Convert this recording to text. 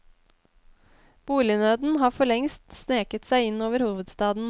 Bolignøden har for lengst sneket seg inn over hovedstaden.